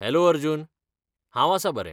Hello Arjun! हांव आसा बरें.